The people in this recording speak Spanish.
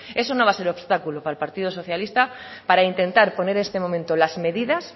eso no va a ser obstáculo para el partido socialista para intentar poner en este momento las medidas